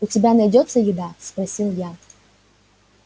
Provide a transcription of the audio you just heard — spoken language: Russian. у тебя найдётся еда спросил я